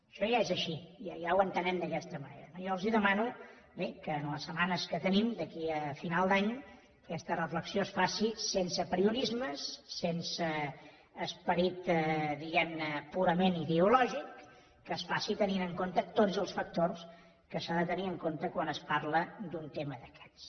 això ja és així ja ho entenem d’aquesta manera no jo els demano que en les setmanes que tenim d’aquí a final d’any aquesta reflexió es faci sense apriorismes sense esperit diguem ne purament ideològic que es faci tenint en compte tots els factors que s’han de tenir en compte quan es parla d’un tema d’aquests